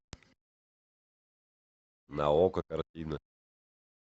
на окко картина